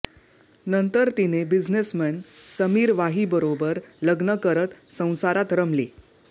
नंतर तिने बिझनेसमन समीर वाहीबरोबर लग्न करत संसारात रमली